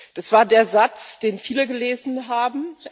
Das war der Satz, den viele gelesen haben.